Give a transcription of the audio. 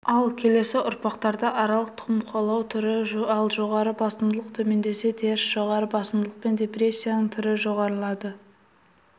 ал келесі ұрпақтарда аралық тұқым қуалау түрі ал жоғары басымдылық төмендесе теріс жоғары басымдылық пен депрессияның түрі жоғарылады